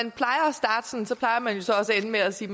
ende med at sige